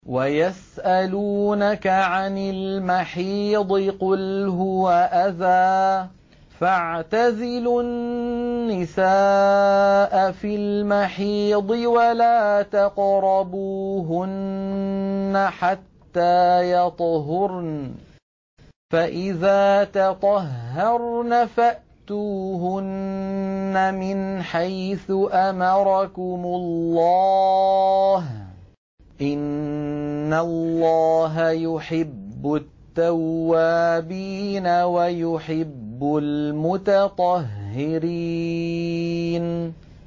وَيَسْأَلُونَكَ عَنِ الْمَحِيضِ ۖ قُلْ هُوَ أَذًى فَاعْتَزِلُوا النِّسَاءَ فِي الْمَحِيضِ ۖ وَلَا تَقْرَبُوهُنَّ حَتَّىٰ يَطْهُرْنَ ۖ فَإِذَا تَطَهَّرْنَ فَأْتُوهُنَّ مِنْ حَيْثُ أَمَرَكُمُ اللَّهُ ۚ إِنَّ اللَّهَ يُحِبُّ التَّوَّابِينَ وَيُحِبُّ الْمُتَطَهِّرِينَ